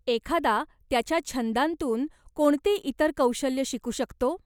एखादा त्याच्या छंदांतून कोणती इतर कौशल्यं शिकू शकतो.?